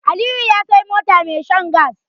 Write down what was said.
Aliyu ya Sai mota mai shan gas